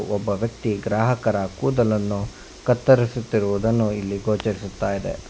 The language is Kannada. ಒಬ್ಬ ವ್ಯಕ್ತಿ ಗ್ರಾಹಕರ ಕೂದಲನ್ನು ಕತ್ತರಿಸುತ್ತಿರುವುದನ್ನು ಇಲ್ಲಿ ಗೋಚರಿಸುತ್ತ ಇದೆ.